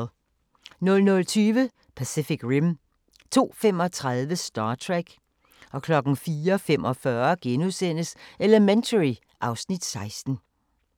00:20: Pacific Rim 02:35: Star Trek 04:45: Elementary (Afs. 16)*